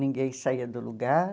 Ninguém saía do lugar.